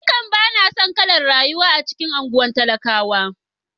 Ba na son kalar rayuwa a cikin anguwan talakawa.